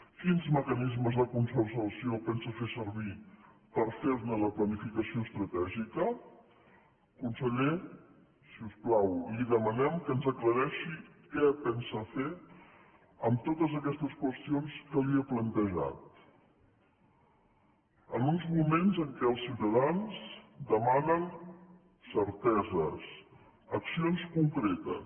quins mecanismes de concertació pensa fer servir per fer ne la planificació estratègica conseller si us plau li demanem que ens aclareixi què pensa fer amb totes aquestes qüestions que li he plantejat en uns moments en què els ciutadans demanen certeses accions concretes